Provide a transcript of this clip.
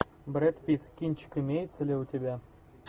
брэд питт кинчик имеется ли у тебя